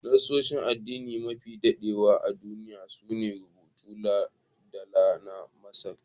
Nassosin addini mafi dadewa a duniya su ne rubutun dala na Masar.